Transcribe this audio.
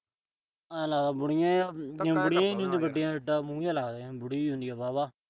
ਆਏ ਲੱਗਦਾ ਬੁਡੀਆ ਜਾ ਬੁਡੀਆ ਜਿਡਾ ਮੂੰਹ ਜਾ ਲੱਗਦਾ। ਜਿਵੇਂ ਬੁਡੀ ਹੁੰਦੀ ਆ ਵਾਹਵਾ